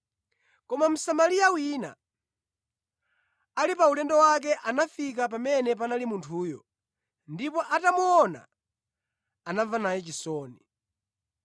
Koma Msamariya wina, ali pa ulendo wake, anafika pamene panali munthuyo; ndipo atamuona, anamva naye chisoni.